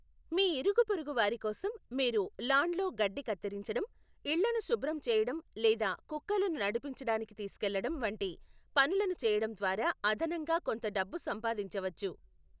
మీ ఇరుగుపొరుగు వారి కోసం మీరు లాన్లో గడ్డి కత్తిరించడం, ఇళ్లను శుభ్రం చేయడం లేదా కుక్కలను నడిపించడానికి తీసుకెళ్లడం, వంటి పనులను చేయడం ద్వారా అదనంగా కొంత డబ్బు సంపాదించవచ్చు.